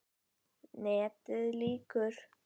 NETIÐ LÝKUR